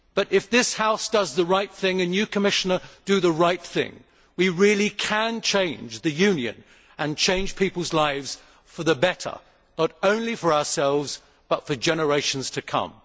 If this House does the right thing and you, Commissioner, do the right thing, then we really can change the Union and change people's lives for the better, not only for ourselves, but for generations to come.